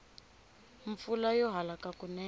mpfula yo halaka kunene